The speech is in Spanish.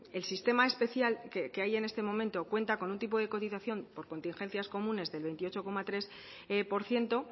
el sistema especial que hay en este momento cuenta con un tipo de cotización por contingencias comunes del veintiocho coma tres por ciento